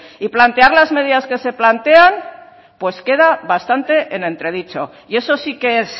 y plantear las medidas que se plantean pues queda bastante en entredicho y eso sí que es